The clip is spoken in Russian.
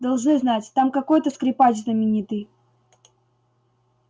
должны знать там какой-то скрипач знаменитый